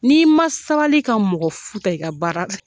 Ni i ma sabali ka mɔgɔfuu ta i ka baara